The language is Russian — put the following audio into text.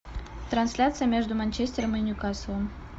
трансляция между манчестером и ньюкаслом